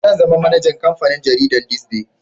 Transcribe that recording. Zan zama manajan kamfanin jaridan "this day"